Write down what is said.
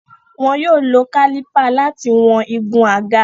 Wọn yóò lo kálípà láti wọn igun àga.